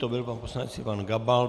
To byl pan poslanec Ivan Gabal.